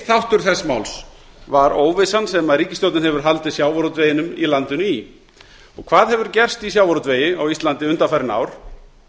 þáttur þess máls var óvissan sem ríkisstjórnin hefur haldið sjávarútveginum í landinu í og hvað hefur gerst í sjávarútvegi á íslandi undanfarin ár